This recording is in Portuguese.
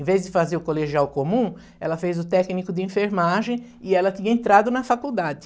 Em vez de fazer o colegial comum, ela fez o técnico de enfermagem e ela tinha entrado na faculdade.